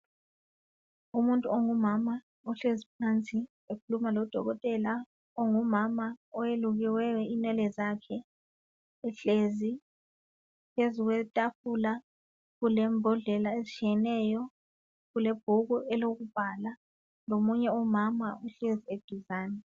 Umuntu ongumama ohlezi phansi. Ekhuluma lodokotela ongumama. Owelukiweyo inwele zakhe. Uhlezi phezu kwetafula, kulembodlela ezitshiyeneyo. Kulebhuku lokubhala. Lomunye umama uhlezi eduzane.